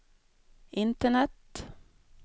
internet